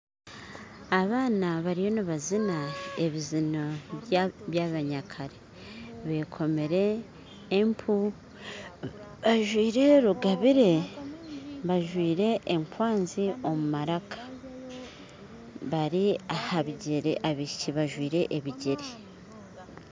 Abaana bariyo nibazina ebizino byabanyakare bekomire empu bajwire rugabire bajwire ekwanzi omu maraka bari aha bigyere abaishiki bajwire ebigyere